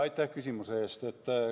Aitäh küsimuse eest!